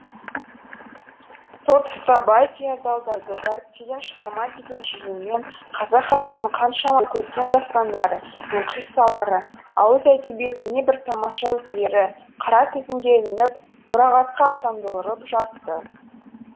сол тұста бай феодалдарды дәріптеген шығарма деген желеумен қазақ халқының қаншама көркем дастандары мен қиссалары ауыз әдебиетінің небір тамаша үлгілері қара тізімге ілініп мұрағатқа аттандырылып жатты